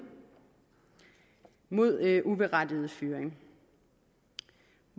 mod uberettiget fyring